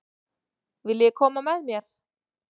Viljiði koma með mér?